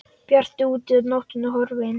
Bjart úti og nóttin horfin.